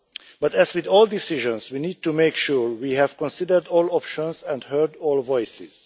But as with all decisions, we need to make sure we have considered all options and heard all voices.